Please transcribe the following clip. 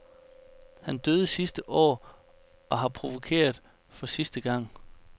Han døde sidste år og har provokeret for sidste gang.